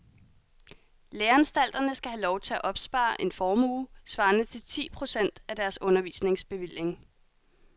Læreanstalterne skal have lov til at opspare en formue svarende til ti procent af deres undervisningsbevilling.